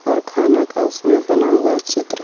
और खाना का उसमें बना हुआ है चित्र.